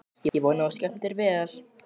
Ég vona að þú skemmtir þér vel!